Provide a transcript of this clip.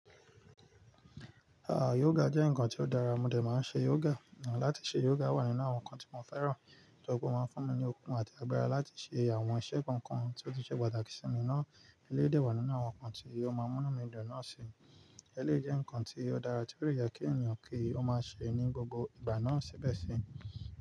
Ah, yoga jẹ́ ǹkan tí ó dára, mo dè máa ń ṣe yoga. Látí ṣe yoga wà nínú àwọn ǹkan tí mo fẹ́ràn. Yöga máa ń fún mi ní okun àti agbára láti ṣe àwọn iṣẹ́ kọ̀ọ̀kan tí ó ti ṣe pàtàkì sí mi. Ná eléyìí dè wà nínú àwọn ǹkan tí yóò máa múní mi dọ̀ná sí. Eléyi jẹ́ ǹkan tí ó dára tí ó dè ye kí ènìyàn kí ó máa ṣe é ní gbogbo ìgbà náà síbẹ̀ sí.